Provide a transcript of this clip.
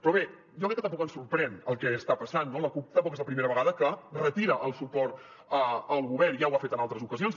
però bé jo crec que tampoc ens sorprèn el que està passant no la cup tampoc és la primera vegada que retira el suport al govern ja ho ha fet en altres ocasions